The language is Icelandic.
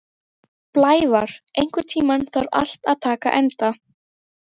Blævar, einhvern tímann þarf allt að taka enda.